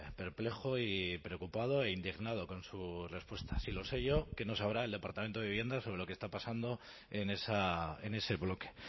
perplejo y preocupado e indignado con su respuesta sí lo sé yo qué no se sabrá el departamento de vivienda sobre lo que está pasando en ese bloque